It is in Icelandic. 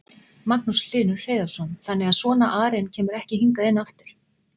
Magnús Hlynur Hreiðarsson: Þannig að svona arinn kemur ekki hingað inn aftur?